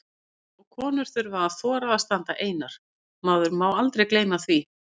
Og konur þurfa að þora að standa einar, maður má aldrei gleyma því!